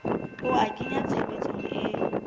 ho a kenya tshebetsong e